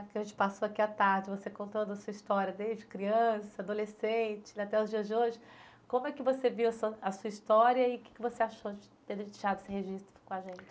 O que a gente passou aqui à tarde, você contando a sua história desde criança, adolescente, até os dias de hoje, como é que você viu a sua, a sua história e que que você achou de ter deixado esse registro com a gente?